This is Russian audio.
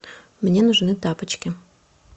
мне нужны тапочки